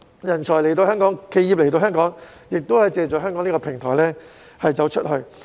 人才及企業來到香港，可以借助香港的平台"走出去"。